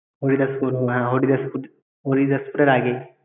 হরিদাসপুর হ~ হ্যাঁ হরিদাসপুর হরিদাসপুরের আগে